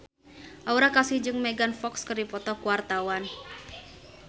Aura Kasih jeung Megan Fox keur dipoto ku wartawan